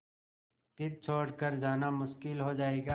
फिर छोड़ कर जाना मुश्किल हो जाएगा